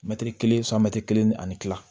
Mɛtiri kelen santiri kelen ni ani kila